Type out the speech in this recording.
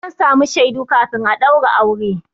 Sai an samu shaidu kafin a ɗaura aure.